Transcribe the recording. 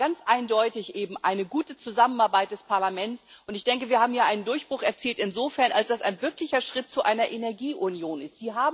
Es war ganz eindeutig eine gute Zusammenarbeit des Parlaments, und ich denke, wir haben hier insofern einen Durchbruch erzielt, als es ein wirklicher Schritt hin zu einer Energieunion ist.